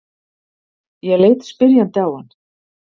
Ég leit spyrjandi á hann.